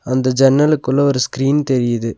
அந்த ஜன்னலுக்குள்ள ஒரு ஸ்கிரீன் தெரியிது.